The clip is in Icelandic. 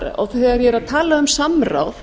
þegar ég er að tala samráð